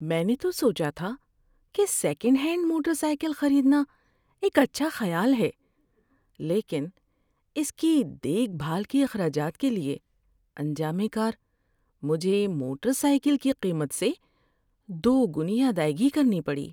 میں نے تو سوچا تھا کہ سیکنڈ ہینڈ موٹر سائیکل خریدنا ایک اچھا خیال ہے، لیکن اس کی دیکھ بھال کے اخراجات کے لیے انجام کار مجھے موٹر سائیکل کی قیمت سے دوگنی ادائیگی کرنی پڑی۔